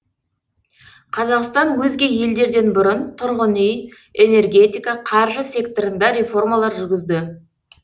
қазақстан өзге елдерден бұрын тұрғын үй энергетика қаржы секторында реформалар жүргізді